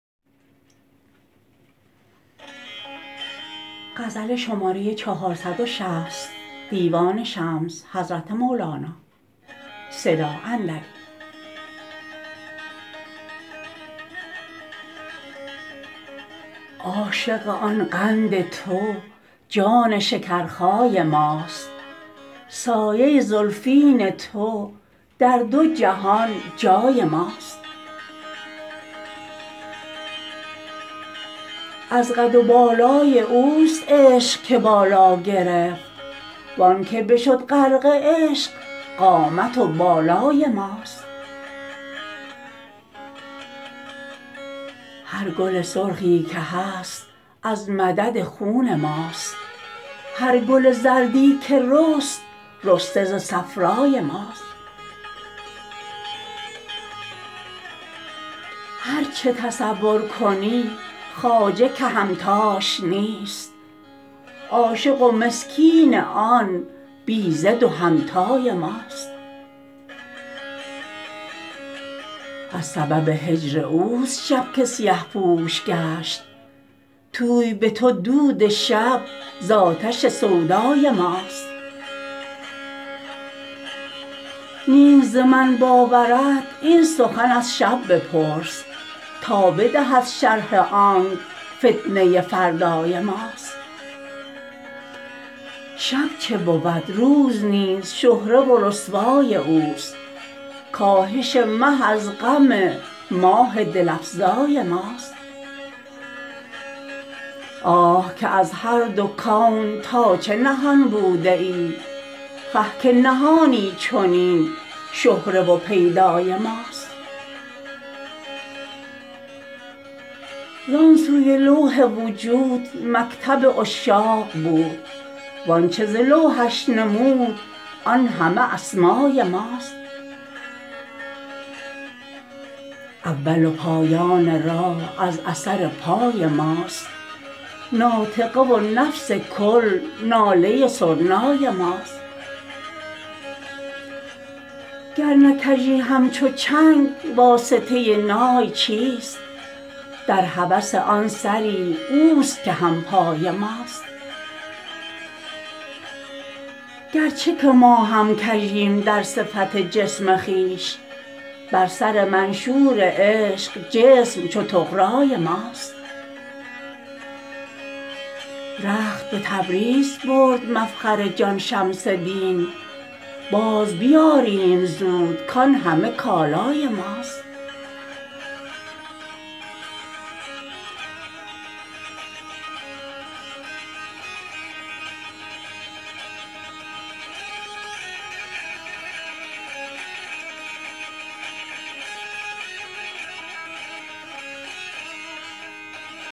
عاشق آن قند تو جان شکرخای ماست سایه ی زلفین تو در دو جهان جای ماست از قد و بالای اوست عشق که بالا گرفت و آنک بشد غرق عشق قامت و بالای ماست هر گل سرخی که هست از مدد خون ماست هر گل زردی که رست رسته ز صفرای ماست هر چه تصور کنی خواجه که همتاش نیست عاشق و مسکین آن بی ضد و همتای ماست از سبب هجر اوست شب که سیه پوش گشت توی به تو دود شب ز آتش سودای ماست نیست ز من باورت این سخن از شب بپرس تا بدهد شرح آنک فتنه فردای ماست شب چه بود روز نیز شهره و رسوای اوست کاهش مه از غم ماه دل افزای ماست آه که از هر دو کون تا چه نهان بوده ای خه که نهانی چنین شهره و پیدای ماست زان سوی لوح وجود مکتب عشاق بود و آنچ ز لوحش نمود آن همه اسمای ماست اول و پایان راه از اثر پای ماست ناطقه و نفس کل ناله سرنای ماست گر نه کژی همچو چنگ واسطه نای چیست در هوس آن سری اوست که هم پای ماست گرچه که ما هم کژیم در صفت جسم خویش بر سر منشور عشق جسم چو طغرای ماست رخت به تبریز برد مفخر جان شمس دین بازبیاریم زود کان همه کالای ماست